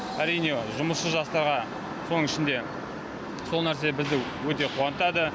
әрине жұмысшы жастарға соның ішінде сол нәрсе бізді өте қуантады